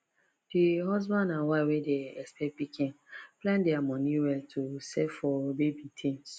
d husband and wife wey dey expect pikin plan dia money well to save for baby things